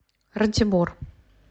ратибор